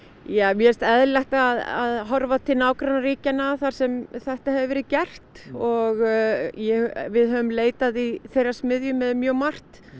mér finnst eðlilegt að horfa til nágrannaríkjanna þar sem þetta hefur verið gert og við höfum leitað í þeirra smiðju með mjög margt